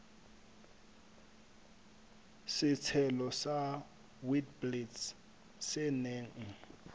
setshelo sa witblits se neng